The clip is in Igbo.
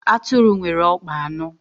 Atụrụ nwere ọkpa anọ